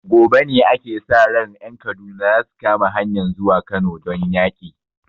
Gobe ne ake sa ran ƴan Kaduna zasu kama hanyan zuwa Kano don yaki